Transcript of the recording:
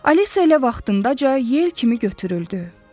Alisa elə vaxtında cə yel kimi götürüldü.